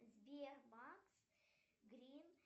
сбербанк грин